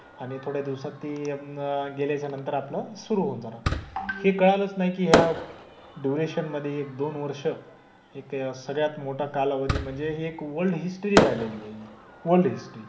आणि थोड्या दिवसांत ते अं गेल्याच्या नंतर आपलं सुरु होऊन जाणार. हे कळालंच नाही की ह्या डयुरेशन मधे एक, दोन वर्ष जिथे सगळ्यात मोठा कालावधी म्हणजे एक वल्ड हिस्टरी झालेली आहे हि. World history